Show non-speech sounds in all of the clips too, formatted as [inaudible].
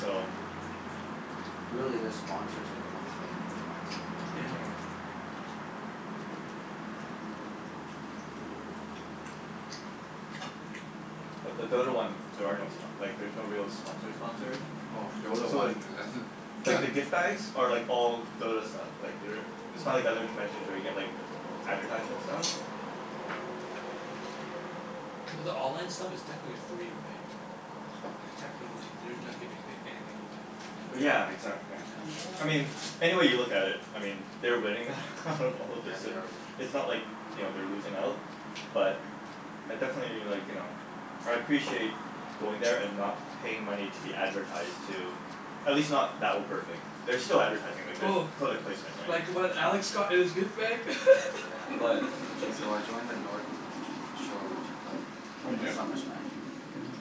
So Really, their sponsors are the ones paying for events, so [noise] [noise] Mhm. [noise] But the Dota one, there are no spo- like there's no real sponsor sponsors. [noise] [noise] Oh. Oh, [noise] Dota So one like like the gift [laughs] bags are like all Dota stuff. Like they're it's not like other conventions where you get like [noise] Yeah. advertisement stuff. [noise] Mhm. [noise] But the online stuff is technically free, right? Like technically they're not giving anyth- anything away. [noise] [noise] Mm. Yeah, exac- yeah. [noise] [noise] I Yeah. mean any way you look at it I mean they're winning [laughs] out [noise] of all this Yeah, they and are winning. it's not like, you know, they're losing out. But I definitely like, you know I appreciate going there and not paying money to be advertised to. At least not that overtly. There's still advertising. [noise] Like, there's Oh. product placement, right? Like what Alex got in his gift bag? [laughs] [noise] Yeah. What? [noise] What did you get? So I joined the North Shore Winter Club Oh did ya? Summer Smash.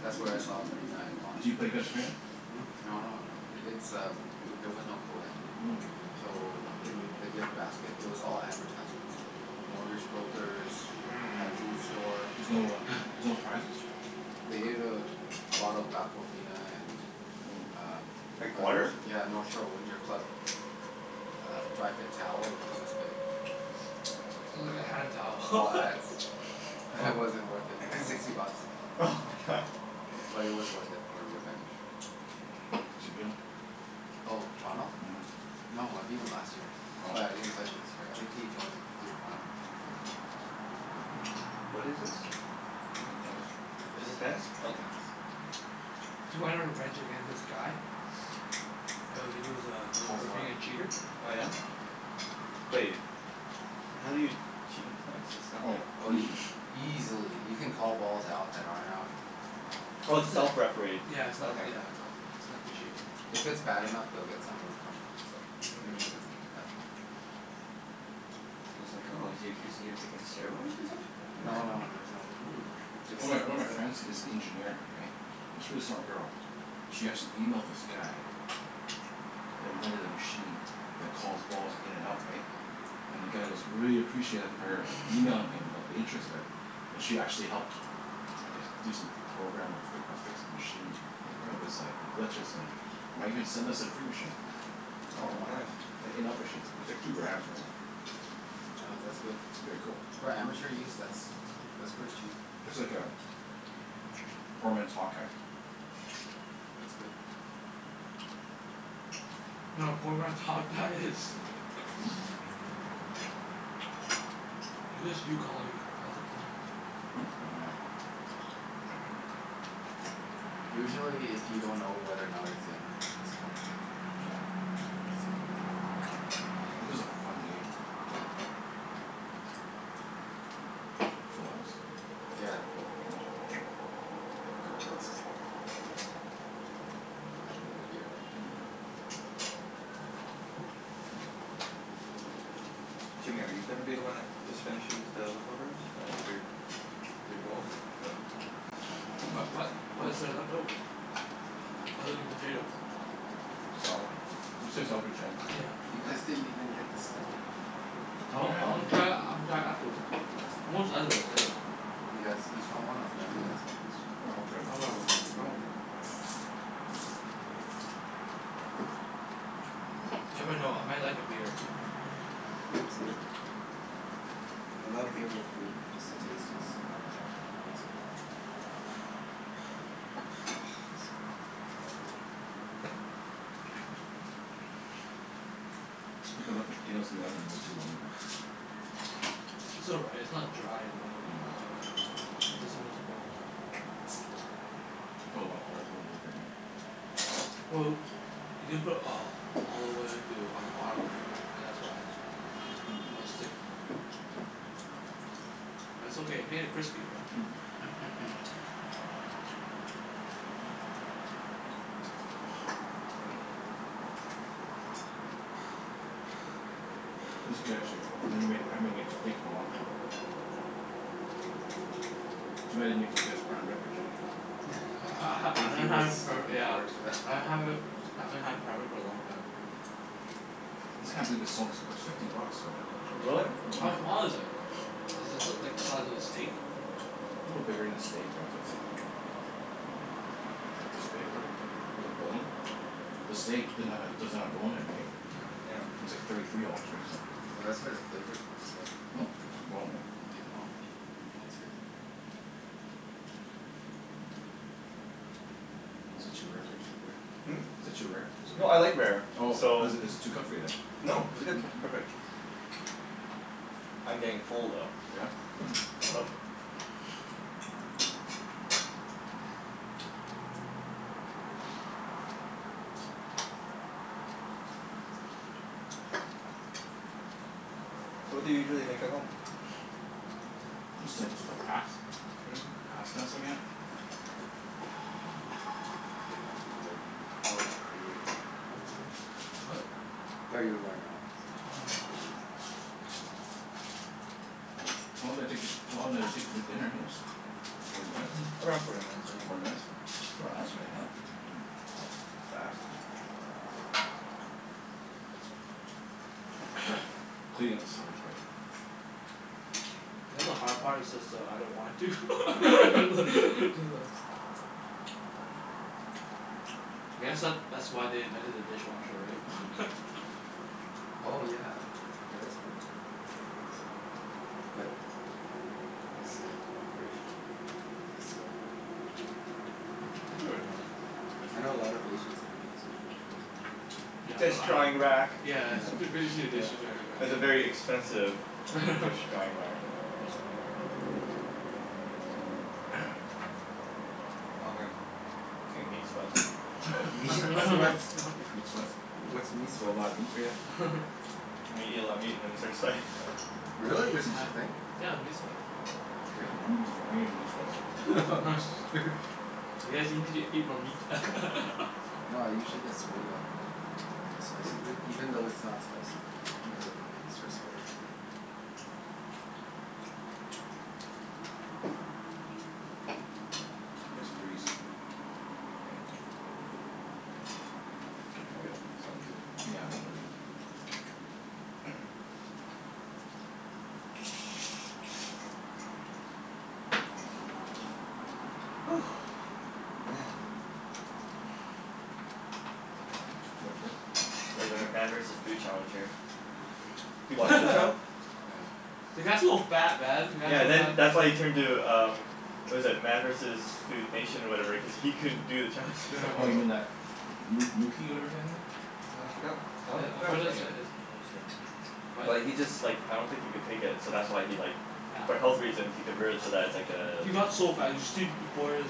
That's where I saw Corina and Ron. Do you play against Corina? Hmm? No no no, it's um eh- there was no coed. Mm. So in the gift basket it was all advertisements like [noise] mortgage brokers Mhm. [noise] pet food store. There's no uh [laughs] there's no prizes? They Mm. gave a [noise] bottle of Aquafina and [noise] Mm. um [noise] Like a Nort- water? yeah, a [noise] North Shore Winter Club a uh dry fit towel, which was this big. Wow. [noise] It's like a hand towel. All [laughs] ads. [noise] Wow It wasn't [noise] worth it. It was sixty bucks. [noise] oh my god. But it was worth [laughs] it [laughs] for revenge. [noise] Zee beetle? [noise] Oh, Ronald? Mhm. No, I beat him last year. Oh. But [noise] I didn't play him this year. I think he joined three point oh. Yeah. [noise] What is this? Hmm? T- tennis. Oh. Is Yeah, this tennis? Mm. tennis. Okay. [noise] Mm. [noise] Cuz you wanted revenge against this guy? Yeah, he was uh [noise] known Cold for war. being a cheater. Oh yeah? But Right? Yeah. y- how do you cheat in tennis? [noise] It's not Oh. like [noise] Oh y- Easily. [noise] easily. You [noise] can call balls out that aren't out. Oh, it's Yeah. self-refereed. [noise] Yeah, it's not Okay. yeah, it's not s- it's not officiated. If it's bad enough, [noise] they'll get someone to come watch but usually it doesn't Mhm. get to that point. [noise] I was like, "Oh, is he accusing you of taking steroids or [noise] No no something?" no, [laughs] there's no, who who [noise] takes One of my one of steroids? my friends [laughs] is an engineer, right? It's really smart girl. She actually emailed this guy [noise] that invented a machine that calls balls in and out, Yeah. right? And the guy [noise] goes really appreciative of her emailing him about the interest of it. And she actually helped I guess do some programming or fic- or fix the machine. [noise] Mhm. Of [noise] his like, the glitches and might even send us a free machine. [laughs] Oh, Oh wow. nice. [noise] An in-out machine. It's like two grand, something like that. Oh, that's good. It'd be a cool. For amateur use? That's g- that's pretty cheap. [noise] It's like a [noise] poor man's hawk eye. Yeah. That's good. [noise] No, a poor man's hawk-eye is [noise] [laughs] [noise] Hmm? [noise] It's just you calling it. That's a poor man's [noise] Hmm? Oh yeah. [noise] [noise] Usually if you don't know whether or not it's in just call it in. [noise] Oh yeah. Yeah, that's a [noise] This is a fun game, right? Yeah. [noise] You full house? [noise] Yeah, Yeah? I'm full. K. I had quite a bit. [noise] I'll have another beer though. [noise] Mhm. [noise] Jimmy, are you gonna be the one that just finishes the leftovers? Is that your your goal? [laughs] [noise] [noise] What what [noise] what What is is it? there What? left over? Other than potatoes? [noise] Salad. Let's save the salad for [noise] Jen. [noise] Oh Yeah, You well Yeah. guys didn't even get to Stella. I y- want, I wanna yeah. try it, I wanna try it afterwards. I'm almost done this anyway. You guys [noise] Yeah, each want one? I'll grab you guys one each. I'll grab that I'll one. have one. I'm okay, for now. Oh. [noise] [noise] Never know. I might like a beer. [noise] Yeah, beer's good. I love beer with food. Just the taste is amazing. [noise] Oh, so I need a bottle opener. Mm. [noise] [noise] I think I left the potatoes in the oven a little too long, though. [noise] It's [noise] all right. It's not dry in the middle. No. No. That's the most important part. [noise] Put a lotta olive oil over it, [noise] right? Well, you didn't put [noise] uh olive oil too on the bottom, right? Oh, that's why it's so it'll stick more, right? [noise] [noise] But it's okay. It Mm. made it crispy, right? [noise] [noise] Mm. [noise] Mm. [noise] This is good, actually. I never made, I haven't m- made steaks in a long time. [noise] [noise] Too bad I didn't make you guess prime rib or Jimmy. [noise] [laughs] I ha- Yeah, I ha- I think he haven't was had for looking yeah forward to that. I haven't I haven't had prime rib for a long time. [noise] I just can't believe it's so ex- it's fifty bucks for that. [noise] Really? [noise] For How Mhm. prime small rib. is it? [noise] [noise] A Is this l- like the size of a steak? little bigger than a steak, right? But it's like [noise] [noise] Maybe it's this big, whatever. With a Mm. bone. The steak didn't have a, doesn't have a bone in it, right? [noise] [noise] Yeah. It's like thirty three dollars, right? So Well that's where the Yeah. flavor's from, as well. The Hmm? bone. The bone, right? You can get boned. [noise] Bone's good. Yeah. [noise] Is it [noise] too rare for your st- Rick? [noise] Hmm? Is it too rare? Is it No, I okay? like rare, [noise] Oh, so is it is it too Oh. cooked for you, then? No, this is good. Perfect. [noise] I'm getting full [noise] Oh yeah? though [laughs] Mm. so [noise] [noise] [noise] Oh. [noise] So what do you usually make at home? [noise] [noise] [noise] Just simple stuff. Pas- Mm. Pasta s- again Mm. Here let me get out of your way. [noise] Oh, I thought you were going out. Never mind. What? Thought you were going out so Oh, I was no. gonna move. [noise] How long did it take to, how long did it take to make [noise] dinner, anyways? Forty minutes? [noise] Around forty minutes I Forty Forty think, minutes? minutes. yeah. For us right now? That was fast. Mm. [noise] [noise] Cleaning up is the hard part. [noise] Not the hard part, it's just that I don't want [laughs] to. [laughs] [noise] I guess that that's why they invented a dishwasher, [noise] right? [laughs] Oh yeah. There is one. But is it [noise] operational? Does it still work? Mm. [noise] I'm sure it does. I know a lot of Asians, they don't use dishwashers so [noise] [noise] Yeah, Dish I don't I drying don't rack. Yeah, Yeah, it's f- b- dish, yeah, dishes [laughs] drying dish rack. drying It's a very rack. expensive [noise] [noise] dish [laughs] drying whack. [noise] Yeah. [noise] [noise] Oh man, [noise] getting meat sweats. [noise] Meat [laughs] sweats? [laughs] Meat sweats? What's meat [noise] That's a whole sweats? lotta meat for ya? [noise] [laughs] Meat, eat a lot of meat and then you start sweating. Oh, [noise] [laughs] Really? There's such Yeah. a hmm. thing? [noise] Yeah, the meat sweat. Seriously? I'm Damn. gett- sw- I'm getting meat [noise] sweats. [laughs] [laughs] [noise] You guys you need to eat more meat. [laughs] No, I usually get [noise] Mm. [noise] Mm. [noise] sweaty off spicy food. Even though it's not spicy [noise] it'll make me start sweating. Mm. [noise] Nice breeze. [noise] Yeah. [noise] Can probably open this up, too. [noise] Yeah, open it up. [noise] [noise] [noise] Woo. Man. [noise] It's [noise] Too much vape? Too much like a regulator meat? Man versus Food Challenge here. [noise] [noise] You [laughs] watch that show? Yeah. The guy's so fat, man. The guy's Yeah, so then that's why fa- he turned to um what was it? Man versus Food Nation or whatever cuz he couldn't do the challenges [noise] Yeah. [noise] Oh, you anymore. mean that moo moo key whatever kinda thing? Uh, I forgot I [noise] don- forgot his name. [inaudible] But he just like [noise] I don't think he could take it, so that's why he like for health reasons he convert it so that it's like Yeah. [noise] uh He got so fat. You should see b- before his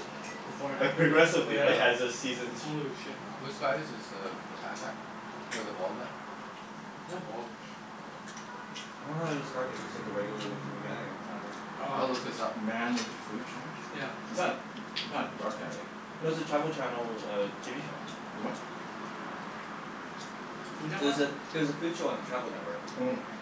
before and Like after pic, progressively, right? As the yeah. seasons Holy shit, man. Which guy is this? The the fat guy? Or the bald guy? [noise] Not bald. [noise] Um, [noise] I don't know how to describe him. He looks Hmm. like a regular lookin' guy. [noise] Oh right, [noise] foo- I'll Um look this up. Man with his food challenge? Yeah. [noise] Is that [noise] not a dark guy, right? No, it was a [noise] Travel Channel TV show. Is [noise] what? It was a, it was a food show on the Travel Network. Mm. [noise]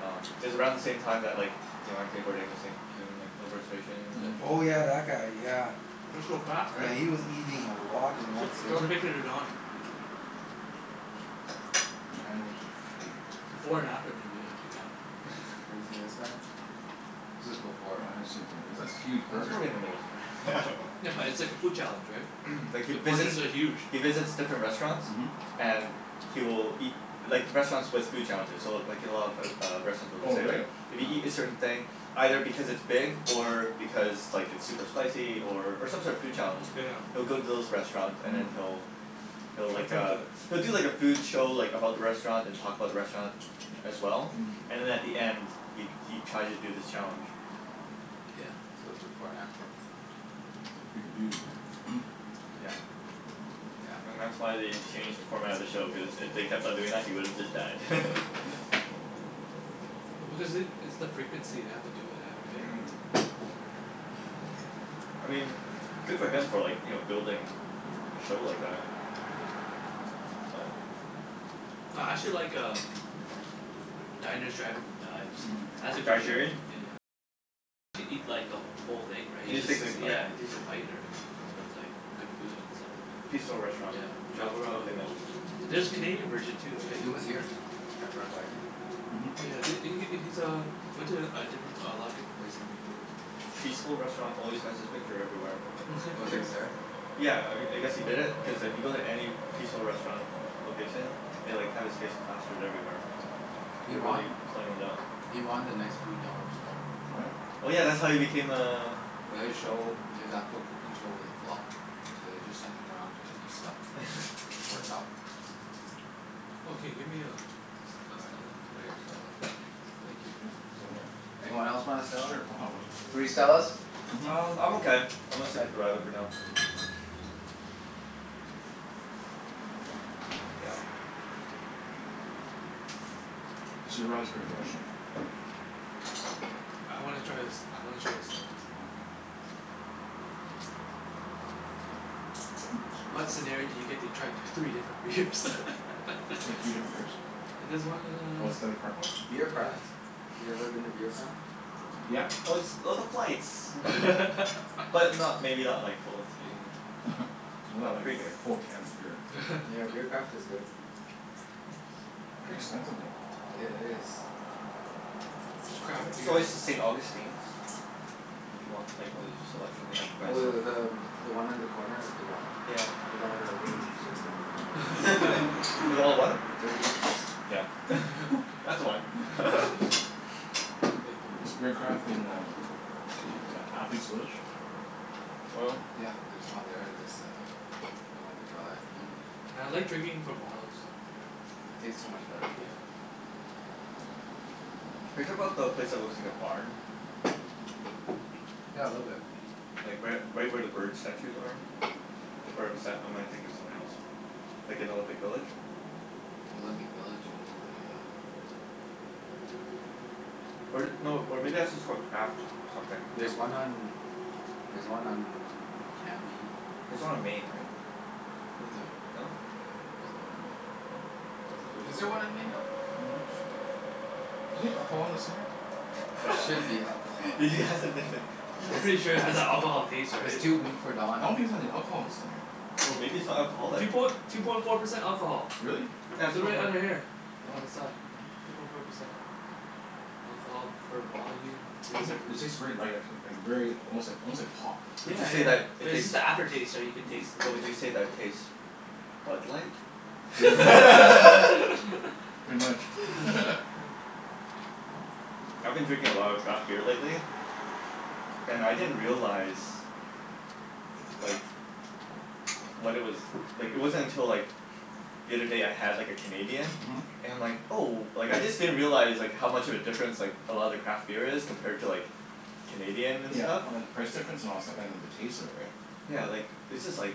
Um, it was around the same time that like you know, Anthony Bourdain was saying, [noise] doing like No Reservations, and Oh yeah, Mhm. that guy. Yeah. Mm. [noise] He was so fat, right? Yeah, he was eating a [laughs] lot in one Sh- sitting. show the picture to Don. [noise] Man was his [noise] food. [noise] Before and after, maybe. If you can. [laughs] Have you seen this guy? This is [noise] Oh, before, I haven't [noise] seen it right? for a b- that's a Yeah, huge that's burger. probably in the middle somewhere. In the middle. [noise] Yeah, [laughs] No. but it's like a food challenge, right? [noise] Like he The visits, portions are huge. he visits different restaurants. Mhm. And he will eat, like restaurants with food challenges so [noise] w- like you know of o- a lot of restaurants Oh, will say like really? [noise] if you Yeah. eat a certain thing, either because it's big [noise] or because like it's super Mhm. spicy or or some sort of food challenge [noise] he'll Yeah. go to those restaurants and then Mhm. he'll he'll like Attempt uh, it. [noise] he'll do like a food show like about the Mm. restaurant, [noise] Mm. [noise] and talk about the restaurant [noise] as well. Mhm. And at the end [noise] he he tries to do this challenge. Wow. Yeah. [noise] So, before and after. That's a big dude. [noise] [noise] Yeah. Damn. And that's why they changed the format of the show, cuz if they kept on doing that he would have just died. [laughs] [laughs] [noise] Oh because it, it's the [noise] frequency they have to do it at, right? Mm. [noise] [noise] I mean good for him for like, you know, building a show like that. [noise] But [noise] No, I actually like um Diners, drive-ins, and [noise] Dives. Mm. That's a [noise] Guy good show. Sheerian? [noise] Yeah, he takes a bite or, right? But it's like good food and stuff. [noise] Peaceful Restaurant. Yeah. Milk Travel around milk the in it. world Yeah. There's a Canadian [noise] version too, right? He was here at Red Wagon. [noise] Oh Mhm. yeah, th- he Yeah. he's uh he went to a different a lot of different places in Vancouver. Peaceful Restaurant always has his [noise] picture everywhere. Oh, It's he like, was there? [laughs] yeah, I I guess he did it cuz if you go to any Peaceful Restaurant location they like have his face plastered everywhere. Mhm. [noise] [noise] He They're won really playing it up. he won The Next Food Network Star. What? [noise] Oh yeah, that's Yeah. how he became a But his show, [inaudible] his actual [noise] cooking show was a flop. So they just sent him around to eat stuff and it worked Yeah. [laughs] out. [noise] Yeah, Oh, I'll can you get get me a a Stella? you a Stella. [noise] Yeah, [noise] thank you. [inaudible] Anyone else want a S- Stella? sure, I'll have one. Three Stellas? [noise] [noise] Mhm. Um, I'm okay. I'm gonna stick Okay. with the radler for now. [noise] Yeah. [noise] Actually, the radler's pretty good actually. I wanna try this, I wanna try the Stella. Yeah. Mm. [noise] Ooh, [noise] What excuse me. scenario do you get to try d- [noise] You three different beers? [laughs] get three different beers? There's one [noise] Oh, the uh Stanley Park one? [noise] Beer [noise] Mhm. Yeah, yeah. Craft. You ever been to Beer Craft? Yeah. Oh it's oh the [noise] Mm. flights. Mm. But [laughs] not, maybe not like full three here. Mm. [laughs] Not Not like, free beer. full cans of beer. Yeah, Beer Craft is [laughs] good. [noise] Pretty expensive, [noise] though. [noise] It is. It's craft [noise] It's beer, right? always the St. Augustine's. Mm if you want like Oop. the selection. They have quite Oh, a th- selection the too. um one on the corner of the Drive? Yeah. With all the dirty [noise] hipsters, there? With [laughs] all [laughs] the what? The dirty hipsters. Yeah. [laughs] That's the one. [laughs] [inaudible] [laughs] [laughs] I thank you. [noise] Is Beer Craft in um A- Athlete's Village? [noise] Oil? [noise] Yeah, there's one there. There's uh one on the Drive. Mhm. Yeah, I like drinking from bottles. Yeah, s- it tastes so much better. Yeah. Are you talking 'bout the place that looks like a barn? [noise] Yeah, a little bit. Like right u- right where the bird statues are? Where bes- or am I thinking of something else? Like in Olympic Village? [noise] Olympic Village? Um [noise] Or th- no, or maybe that's just called Craft something. There's Craft house one or on, there's one on Cambie. [noise] [noise] There's one on Main, right? Feel like there's No. one, no? N- [noise] I'm there's none on not Main. Oh, I thought there sure. was Is a Is there there one Craft on on Main, Don? Main. any alcohol in this thing here? [inaudible] There should be alcohol [laughs] in Did you ask if that. there's any I'm It's pretty sure it has that alcohol taste, it's right? it's too weak for I Don. don't think there's any [noise] alcohol in this thing here. Oh, maybe it's not Two alcoholic? poin- two point four percent alcohol. Really? Yeah, two They're point right four. under here. Oh. Oh. On the side, yeah. Two point four percent. Alcohol per volume, three Those are, hundred it fifty tastes very light actually. Like very almost like [noise] almost like pop. Would Yeah, you say that yeah. But it it's tastes just the after taste, right, you can taste Mm. the but beer. would you say that tastes Bud Light? [noise] Yeah. [laughs] Pretty much. [laughs] [laughs] [laughs] I've been drinking a lot of craft beer lately. And I didn't [noise] realize like what it was, like it wasn't until like [noise] the other day I had like a Canadian Mhm. and I'm like, oh, like I just didn't realize like how much of a difference [noise] like a lot of the craft beer is compared to like Canadian and Yeah, stuff. oh and the price difference and all that stuff, and then the taste of it, right? Yeah, like it's just like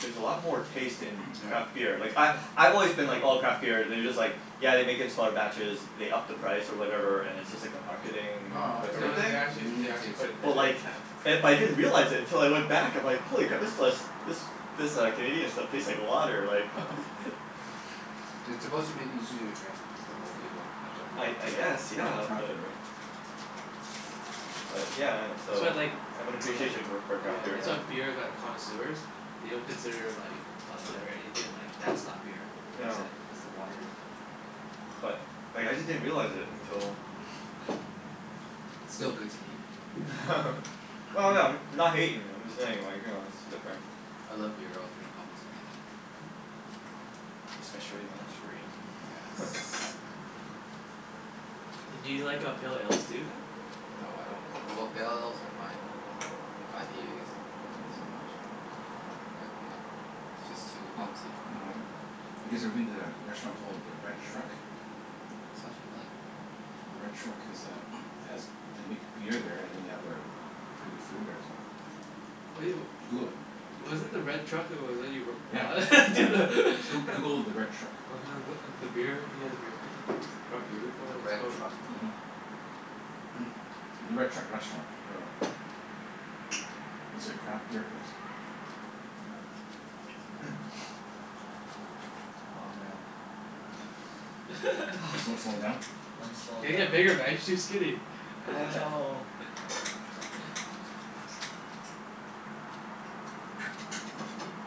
there's a lot more taste in Yeah. craft beer. Like I Mhm. I've always been like oh, craft beer, they're just like yeah they make it in smaller batches, they up the price or whatever, and it's just like a Mm. [noise] marketing No no, it's No whatever th- thing. they a actually they unique actually taste. put it d- But d- like yeah. it, but I didn't realize it until I [noise] went back I'm like, Mhm. holy crap, this lis- this this uh Canadian stuff tastes like water, like Yeah, [laughs] [noise] yeah. [laughs] [noise] It's Cra- supposed to be easier to drink for most Yeah. people, that's why people I I mo- guess, Yeah. yeah, craft but beer, right? Yeah. but yeah and That's so why I like I have an I like appreciation go- for Yeah, craft beer that's why now. beer like connoisseurs [noise] they don't consider like Bud Light or anything, like that's not beer. That's Yeah. [noise] it, that's the water they say. But like I just didn't realize it until [noise] [noise] Still good to me. [noise] [laughs] [laughs] Well no, I'm [noise] not hatin', I'm just saying like, you know, it's different. I love beer. I'll drink almost anything. [noise] [noise] Especially when it's free. Yes. [laughs] [noise] Do you like uh pale ales too, then? No, I don't, well, pale [noise] ales are fine. IPAs not so much. I Mm. won't drink IPA. [noise] Just Yeah. You too kn- hopsy for me. w- Mm. you guys ever Yeah. been to a restaurant called the Red Truck? Sounds familiar. The Red Truck is uh [noise] has, they make beer there and then they have their pretty good food they were saying. [noise] What do yo- [noise] Google it. [noise] Wasn't the Red Truck [inaudible] Yeah. Yeah. [inaudible] Goo- [laughs] Google the Red Truck. [noise] Mhm. [inaudible] beer, you had a beer can? You brought beer before The and it was Red no- Truck? yeah. [noise] [noise] The Red Truck Restaurant or [noise] [noise] It's a craft beer place. Mm. [noise] Oh man. [noise] Slo- slowing [laughs] down? [noise] I'm [noise] You slowin' gotta down. get bigger man. You're too skinny. I [laughs] know. The Red Truck. [noise]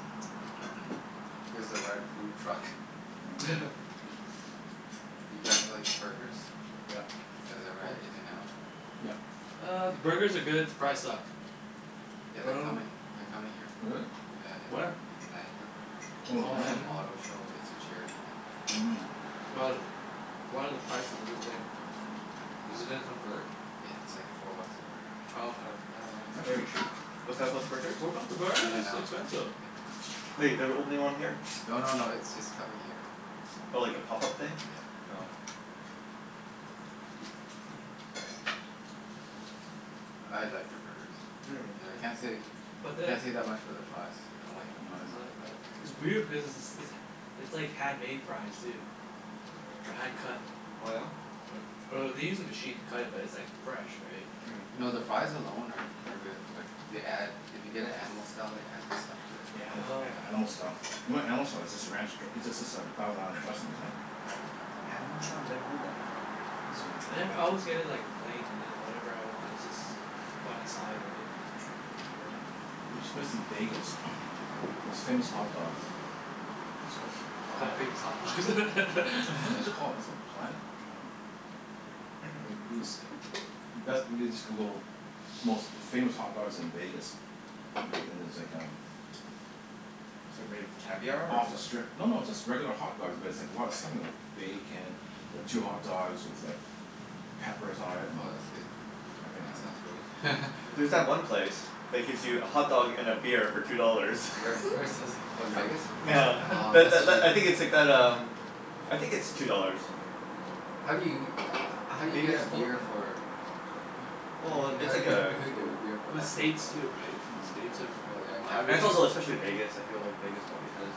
[noise] Here's the Red Food Truck. Mm. [laughs] Do you guys [noise] like burgers? Yep. You Yeah, guys of ever had course. In and Out? [noise] Yep. [noise] Uh, the burgers are good. The [inaudible] You fries guys like suck. [noise] Oh Yeah, But I they're dunno coming, they're coming here. really? Yeah, in Where? Langley. [noise] To [noise] Oh, Oh, some Langley. auto Langley? [noise] show. It's a charity thing. But, [noise] what are the prices is this day? Uh, Is it gonna Mm. convert? yeah, it's like four bucks a burger. Oh, okay. Yeah, I [noise] wasn't. That's Wait, pretty cheap. what's that about the burgers? What about the burgers? In and That's Out. expensive. In and Out. Wait, they're opening one here? No no no, it's just coming here. [noise] Oh, like a pop-up thing? Yeah. Oh. Yeah. [noise] I [noise] liked their burgers. Yeah, Yeah. can't say But the can't say that much for their fries. I don't Yeah, like [noise] their Mhm. fries, I don't like but the I like Mm. fries. their It's burgers. weird because it's it's it's it's like handmade fries, too. Or hand cut. [noise] Oh yeah? Or or they use a machine to cut it but it's like fresh, right? [noise] [noise] Mm. [noise] No, the fries alone are are good but they add, if you get it Animal Style they add this stuff [noise] to it. Yeah, anima- Oh. a- animal Yeah. style. You know what animal style is? It's just a ranch dr- it's just a thousand island dressing, [noise] isn't it? Yeah. Animal style? Never heard that before. Oh. I never [inaudible] always get it like plain and then whatever I want is just [noise] on the side, right? [inaudible] [noise] There's this place in Vegas [noise] most famous hot dogs. I think it's called It's called Planet Famous Hot [noise] Dogs. What was it [laughs] called? It's [laughs] [laughs] called Planet Ho- um like these, best, you just Google most famous hot dogs in Vegas. Me- and there's like um [noise] It's like made of caviar, [noise] or Off the what? strip. No, no, it's just regular hot dogs but it's like a lot of stuff on them. Bacon. Two hot dogs with like [noise] peppers on it and Oh, that's good. Mm. everything Yeah, on that sounds it. great. [laughs] There's that Yeah. Mm. one place that gives you a [noise] hotdog and a beer for two dollars. Where? Where [laughs] is this? [laughs] Oh, in Vegas? Nyeah. Oh, Tha- tha- that's l- I sweet. think it's like that um I think it's two dollars. [noise] How do you, [noise] how do you Maybe get a it's four now. beer for Well i- how it's do like you, how a do you get a goo- beer for Well, less than two States too, dollars? right? States Mm. Oh, oh are a yeah, lot Right. And it's everything capital also especially Vegas, I feel like Vegas probably has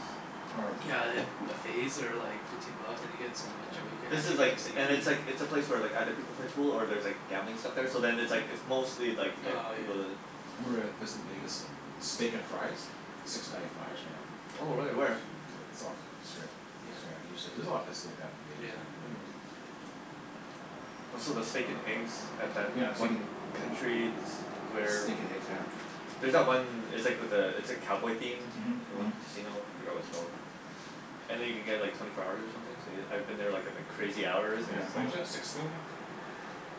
Or Yeah, and then buffets are like fifteen bucks and you get so much, Yeah. right? You can This actually is like get and seafood. it's like, it's a place where like other people play pool or there's like gambling stuff there so then it's like Mm. it's mostly like to get Oh, yeah. people to I remember a place in Vegas, Steak and Fries? Six ninety five or something like that. Oh Oh, really? Where? shoot. Like, it's off of the strip. [inaudible] Yeah. There's a lot of places like that in Vegas, right? Yeah. Mm. Oh, so the steak and eggs at that [noise] Yeah, steak and one country s- where Steak and eggs, yeah. There's that one, it's like with the, it's like cowboy themed? Mhm. The Mhm. one casino? I forgot what it's called. Mm. [noise] And then you can get like twenty four hours or something so y- I've been there like at like crazy hours and Yeah, it's just how like much that? Six swing that?